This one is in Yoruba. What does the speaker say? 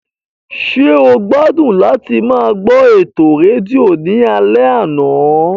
Ṣé o gbádùn láti máa gbọ́ ètò rédíò ní alẹ́ àná?